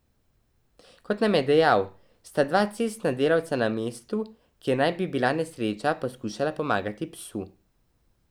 Kot nam je dejal, sta dva cestna delavca na mestu, kjer naj bi bila nesreča, poskušala pomagati psu.